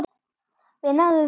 Við náðum því.